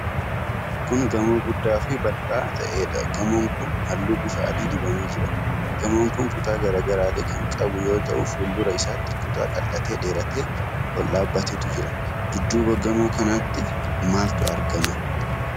Kun gamoo guddaa fi bal'aa ta'eedha. Gamoon kun halluu bifa adii dibamee jira. Gamoon kun kutaa garaa garaallee kan qabu yoo ta'u fuuldura isaatti kutaa qal'atee dheeratee ol dhaabatetu jira. Dudduuba gamoo kanaatti maaltu argama?